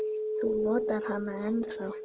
Þú notar hana ennþá.